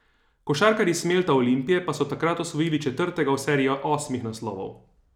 Košarkarji Smelta Olimpije pa so takrat osvojili četrtega v seriji osmih naslovov.